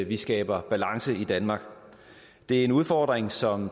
vi skaber balance i danmark det er en udfordring som